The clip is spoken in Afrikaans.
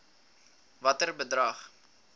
watter bedrag